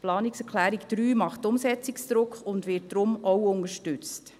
Die Planungserklärung 3 macht Umsetzungsdruck und wird daher auch unterstützt.